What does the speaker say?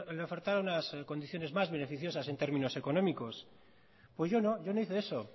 le ofertara unas condiciones más beneficiosas en términos económicos pues yo no yo no hice eso